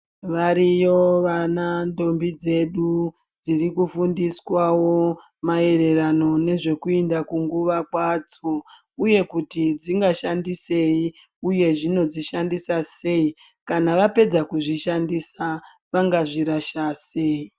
Variyo vana ntombi dzedu dziri kufundiswawo maererano nezvekuenda kunguwa kwadzo uye kuti dzingashandisei uye zvinodzishandisa sei kana vapedza kuzvishandisa vangazvirasha sei.